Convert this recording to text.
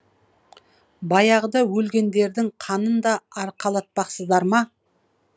баяғыда өлгендердің қанын да арқалатпақсыздар ма